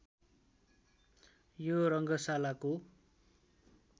यो रङ्गशालाको